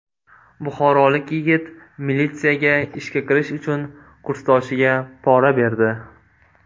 Buxorolik yigit militsiyaga ishga kirish uchun kursdoshiga pora berdi.